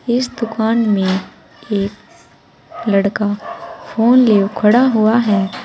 इस दुकान में एक लड़का फोन लिए खड़ा हुआ है।